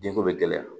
Denko bɛ gɛlɛya